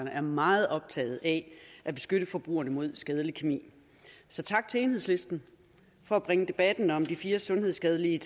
er meget optaget af at beskytte forbrugerne mod skadelig kemi så tak til enhedslisten for at bringe debatten om de fire sundhedsskadelige